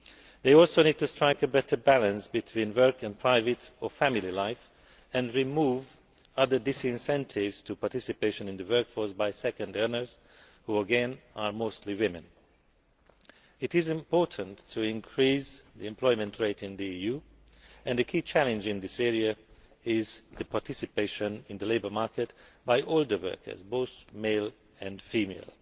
They also need to strike a better balance between work and private or family life and to remove other disincentives to participation in the workforce by second earners, who again are mostly women. It is important to increase the employment rate in the EU and the key challenge in this area is the participation in the labour market by all workers, both male and female.